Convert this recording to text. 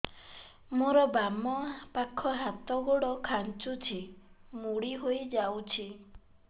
ମୋର ବାମ ପାଖ ହାତ ଗୋଡ ଖାଁଚୁଛି ମୁଡି ହେଇ ଯାଉଛି